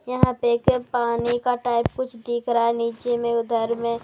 यहां पे के पानी का टाइप कुछ दिख रहा है नीचे में उधर में--